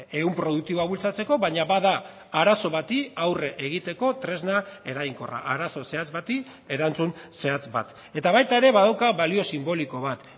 ehun produktiboa bultzatzeko baina ba da arazo bati aurre egiteko tresna eraginkorra arazo zehatz bati erantzun zehatz bat eta baita ere badauka balio sinboliko bat